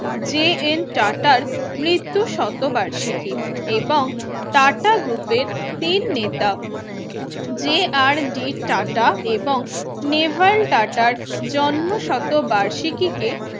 J N টাটার মৃত্যু শতবার্ষিকী এবং টাটা Group এর main নেতা যে-আর -ডি টাটা এবং নেভাল আটাটার জন্ম শতবার্ষিকী কে